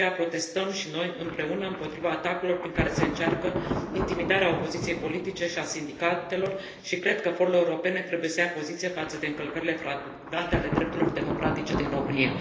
De aceea protestăm și noi, împreună, împotriva atacurilor prin care se încearcă intimidarea opoziției politice și a sindicatelor și cred că forurile europene trebuie să ia poziție față de încălcările flagrante ale drepturilor democratice din România.